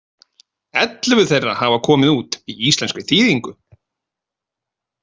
Ellefu þeirra hafa komið út í íslenskri þýðingu.